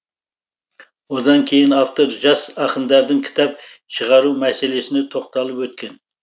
одан кейін автор жас ақындардың кітап шығару мәселесіне тоқталып өткен